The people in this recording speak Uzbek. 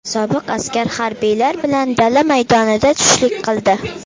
Sobiq askar harbiylar bilan dala maydonida tushlik qildi.